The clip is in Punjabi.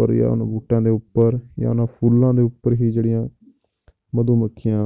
ਉੱਪਰ ਜਾਂ ਉਹਨਾਂ ਬੂਟਿਆਂ ਦੇ ਉੱਪਰ ਜਾਂ ਉਹਨਾਂ ਫੁੱਲਾਂ ਦੇ ਉੱਪਰ ਹੀ ਜਿਹੜੀਆਂ ਮਧੂਮੱਖੀਆਂ